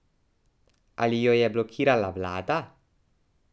Ali jo je blokirala vlada?